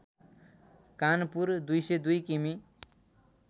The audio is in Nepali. कानपुर २०२ किमि